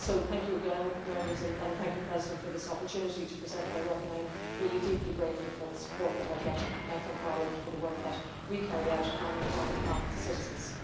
So thank you again, Members, and thank you President for this opportunity to present my work. I'm really deeply grateful for the support that I get from Parliament for the work that we carry out on behalf of the citizens.